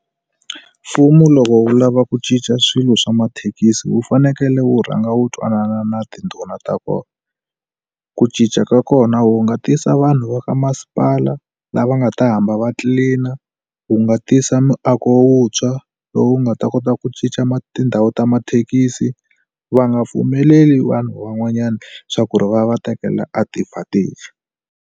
Mfumo loko wu lava ku cinca swilo swa mathekisi wu fanekele wu rhanga wu twanana na tindhuna ta kona ku cinca ka kona wu nga tisa vanhu va ka masipala lava nga ta hamba va tlilina wu nga tisa miako wutshwa lowu nga ta kota ku cinca ma tindhawu ta mathekisi va nga pfumeleli vanhu van'wanyana swa ku ri va va tekela advantage.